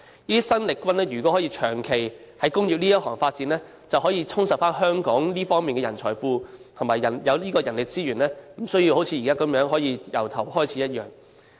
這些生力軍如果可以長期在工業界裏發展，便可以充實香港這方面的人才庫及人力資源，不用像現在要從頭開始一樣。